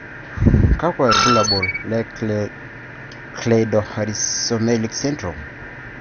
kakwa ibulabul le Cleidorhizomelic syndrome.